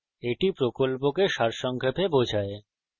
এটি কথ্য tutorial প্রকল্পকে সারসংক্ষেপে বোঝায়